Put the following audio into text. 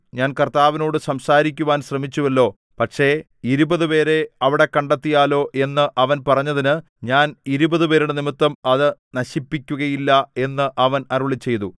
ഞാൻ കർത്താവിനോട് സംസാരിക്കുവാൻ ശ്രമിച്ചുവല്ലോ പക്ഷേ ഇരുപതുപേരെ അവിടെ കണ്ടെത്തിയാലോ എന്ന് അവൻ പറഞ്ഞതിന് ഞാൻ ഇരുപതുപേരുടെ നിമിത്തം അത് നശിപ്പിക്കുകയില്ല എന്ന് അവൻ അരുളിച്ചെയ്തു